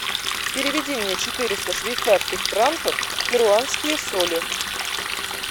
переведи мне четыреста швейцарских франков в перуанские соли